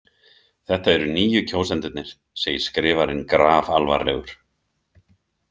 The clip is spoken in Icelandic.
Þetta eru nýju kjósendurnir, segir skrifarinn grafalvarlegur.